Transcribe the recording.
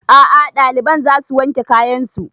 A'a ɗaliban za su wanke kayan su